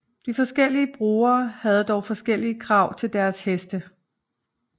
De forskellige brugere havde dog forskellige krav til deres heste